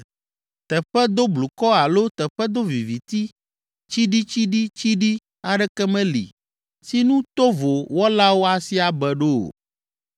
Teƒe doblukɔ alo teƒe doviviti tsiɖitsiɖitsiɖi aɖeke meli si nu tovo wɔlawo asi abe ɖo o.